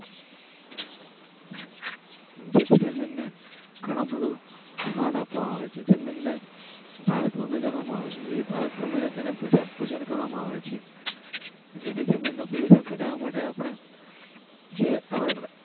Gemini. મને ફાવે છે. તેમણે ભારત ભૂમિ કરવામાં આવશે. ભારત ભૂમિને તેના પૂજન કરવામાં આવે છે. જેથી જમીનનું પ્રદુષણ ઘટાડવા માટે આપણે. જે.